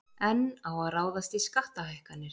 Enn á að ráðast í skattahækkanir